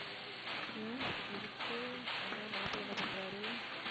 ஏன் எதுக்கு என்ன மாப்பிள்ளை என்ன பண்றாரு